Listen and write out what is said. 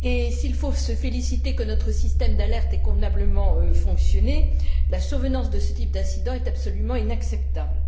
S'il faut se féliciter que notre système d'alerte ait convenablement fonctionné, la survenance de ce type d'incident est absolument inacceptable.